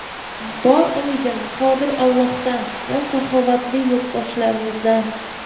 Bor umidim Qodir Allohdan va saxovatli yurtdoshlarimizdan.